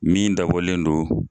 Min dabɔlen do